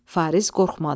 Fariz qorxmadı.